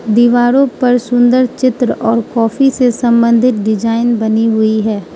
दीवारों पर सुंदर चित्र और कॉफी से संबंधित डिजाइन बनी हुई है।